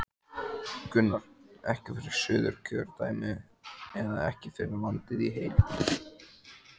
Gunnar: Ekki fyrir Suðurkjördæmi eða ekki fyrir landið í heild?